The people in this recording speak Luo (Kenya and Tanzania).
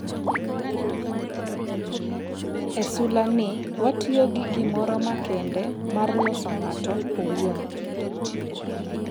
"""E sula ni watiyo gi gimoro makende mar loso ng'ato owuon."